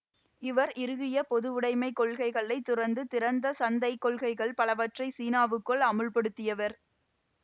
இவர் இறுகிய பொதுவுடமைக் கொள்கைகளை துறந்து திறந்த சந்தை கொள்கைள் பலவற்றைச் சீனாவுக்குள் அமுல்படுத்தியவர்